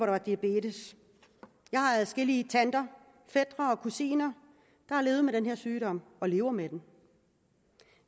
var diabetes jeg har adskillige tanter fætre og kusiner der har levet med den her sygdom og lever med den